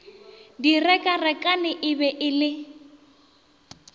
direkarekane e be e le